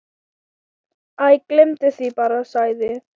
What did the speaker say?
Æ, gleymdu því bara- sagði